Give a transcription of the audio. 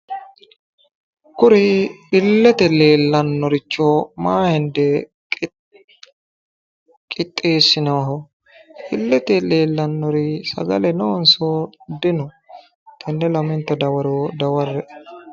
Kuri ilete leelanoricho maa hende qixxeesinonirchoti ? ilete leelanori giddo sagale noonso dino? Tene lamenta dawaro dawarre'e